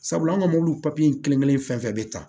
Sabula an ka mobili papiye in kelenkelen fɛn fɛn bɛ ta